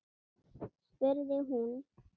spurði hún.